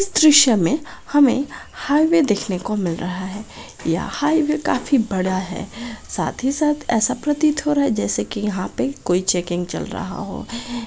इस दृश्य मे हमे हाईवे दिखने को मिल रहा है यह हाईवे काफी बड़ा है साथ ही साथ ऐसा प्रतीत हो रहा है जैसे की यहाँ पे कोई चेकिंग चल रहा हो।